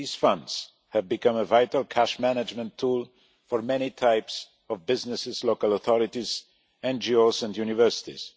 These funds have become a vital cash management tool for many types of businesses, local authorities, NGOs and universities.